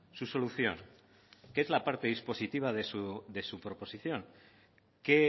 su solución que es la parte dispositiva de su proposición que